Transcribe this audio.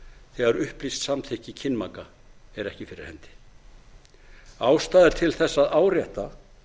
þegar upplýst samþykki til kynmaka er ekki fyrir hendi ástæða er til þess að árétta